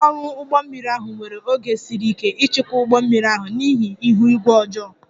Ndị ọrụ ụgbọ mmiri ahụ nwere oge siri ike ịchịkwa ụgbọ mmiri ahụ n'ihi ihu igwe ọjọọ